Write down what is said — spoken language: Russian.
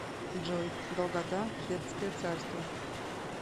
джой долгота хеттское царство